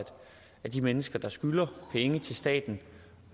de mennesker der skylder penge til staten